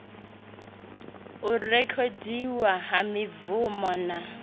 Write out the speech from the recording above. u rekhodiwa ha mibvumo na